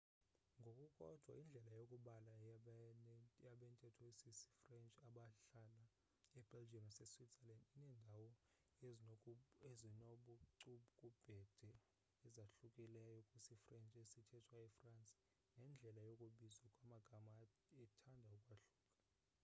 ngokukodwa indlela yokubala yabantetho isisifrench abahlala ebelgium naseswitzerland inendawana ezinobucukubhede ezahlukileyo kwisifrench esithethwa efrance nendlela yokubizwa kwamagama ithande ukwahluka